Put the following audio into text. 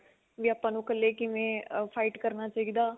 ਵੀ ਆਪਾਂ ਨੂੰ ਇਕੱਲੇ ਕਿਵੇਂ fight ਕਰਨਾ ਚਾਹੀਦਾ